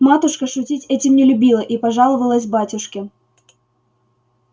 матушка шутить этим не любила и пожаловалась батюшке